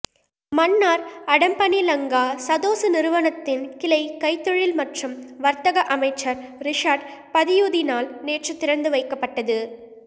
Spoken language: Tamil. மன்னார் அடம்பனில் லங்கா சதொச நிறுவனத்தின் கிளை கைத்தொழில் மற்றும் வர்த்தக அமைச்சர் ரிஷாட் பதியுதீனால் நேற்று திறந்துவைக்கப்பட்டது